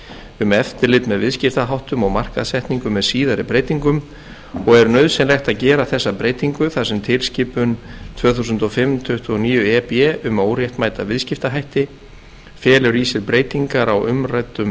um eftirlit með viðskiptaháttum og markaðssetningu með síðari breytingum og er nauðsynlegt að gera þessa breytingu þar sem tilskipun tvö þúsund og fimm tuttugu og níu e b um óréttmæta viðskiptahætti felur í sér breytingar á umræddum